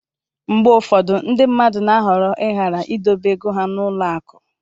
mgbe ụfọdụ ndị mmadụ na-ahọrọ ịghara idobe ego ha n'ụlọ akụ